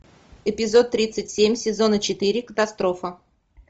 эпизод тридцать семь сезона четыре катастрофа